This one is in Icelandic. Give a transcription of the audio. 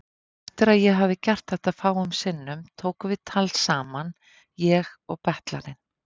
Eftir að ég hafði gert þetta fáum sinnum tókum við tal saman, ég og betlarinn.